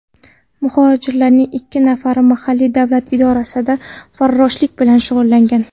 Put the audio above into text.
Muhojirlarning ikki nafari mahalliy davlat idorasida farroshlik bilan shug‘ullangan.